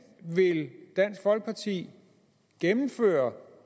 vil dansk folkeparti gennemføre